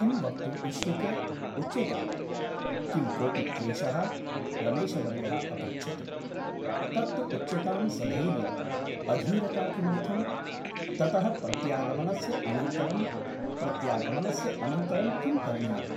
किं वक्तुम् इष्यते ? उच्यताम् । किं कोपि क्लेशः ? रमेशवर्यः अपृच्छत् । तत् तु उच्यतां सधैर्यम् । अधीरता किमर्थम् ? ततः प्रत्यागमनस्य अनन्तरं प्रत्यागमनस्य अनन्तरं किं करणीयम् ?